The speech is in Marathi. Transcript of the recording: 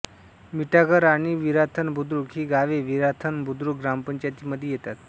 मिठागर आणि विराथन बुद्रुक ही गावे विराथन बुद्रुक ग्रामपंचायतीमध्ये येतात